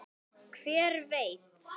Hver veit